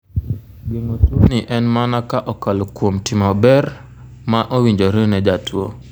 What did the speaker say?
Geng'o tuoni en mana ka okalo kuom timo bero ma owinjore ne jatuo.